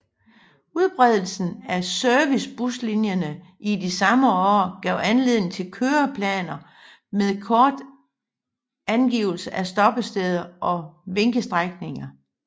Udbredelsen af servicebuslinjerne i de samme år gav anledning til køreplaner med kort med angivelse af stoppesteder og vinkestrækninger